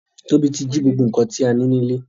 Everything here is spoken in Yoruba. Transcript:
Tobi ti jí gbogbo nkan ti a ni nile.